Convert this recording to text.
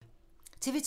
TV 2